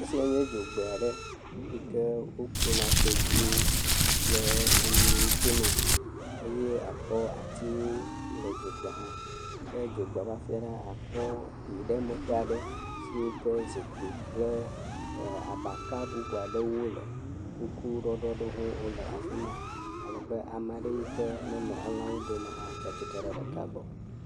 Esia nye dzogbe aɖe yi ke wokplɔna tedziwo kple enyiwo tonɛ. Eye akpɔ atiwo le dzogbe hã. Ke dzogbe ƒe afi ɖe, akpɔ ɖiɖiɖemeƒe aɖe siwo ke zikpi kple ɛɛ abaka bubu aɖewo le. Kuku ɖɔɖɔ bubu aɖewo hã wole afi ma. Alebe ame aɖe yi ke ne nɔ elãwo dome hã, tsa tsitre ɖe ɖeka gbɔ.